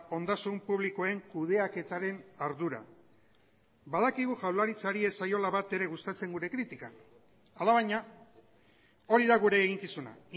ondasun publikoen kudeaketaren ardura badakigu jaurlaritzari ez zaiola batere gustatzen gure kritika alabaina hori da gure eginkizuna